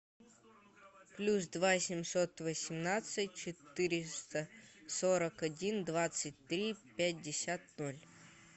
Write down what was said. плюс два семьсот восемнадцать четыреста сорок один двадцать три пятьдесят ноль